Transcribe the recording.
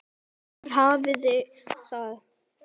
Þar hafiði það.